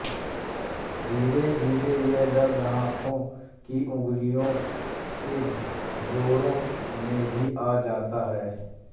धीरेधीरे यह दर्द हाथों की अंगुलियों के जोड़ों में भी आ जाता है